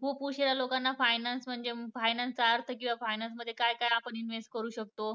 खूप उशिरा लोकांना finance म्हणजे finance चा अर्थ किंवा finance मध्ये आपण काय काय invest करू शकतो